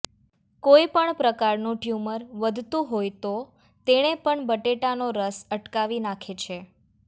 કોઈ પણ પ્રકારનું ટ્યુમર વધતું હોય તો તેણે પણ બટેટાનો રસ અટકાવી નાખે છે